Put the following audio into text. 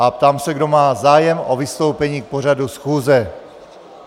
A ptám se, kdo má zájem o vystoupení k pořadu schůze.